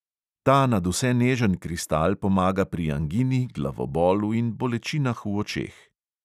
Ta nadvse nežen kristal pomaga pri angini, glavobolu in bolečinah v očeh.